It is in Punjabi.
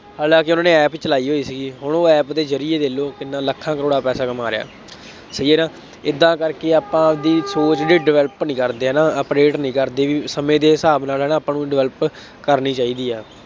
ਹਾਲਾਂਕਿ ਉਹਨੇ ਐਪ ਚਲਾਈ ਹੋਈ ਸੀਗੀ, ਹੁਣ ਉਹ ਐਪ ਦੇ ਜ਼ਰੀਏ ਦੇਖ ਲਉ ਕਿੰਨਾ ਲੱਖਾਂ ਕਰੋੜਾਂ ਪੈਸਾ ਕਮਾ ਰਿਹਾ। ਸਹੀ ਹੈ ਨਾ, ਏਦਾਂ ਕਰਕੇ ਆਪਾਂ ਆਪਦੀ ਸੋਚ ਹਜੇ develop ਨਹੀਂ ਕਰਦੇ ਹੈ ਨਾ, update ਨਹੀਂ ਕਰਦੇ ਬਈ ਸਮੇਂ ਦੇ ਹਿਸਾਬ ਨਾਲ ਹੈ ਨਾ ਆਪਾਂ ਨੂੰ develop ਕਰਨੀ ਚਾਹੀਦੀ ਹੈ।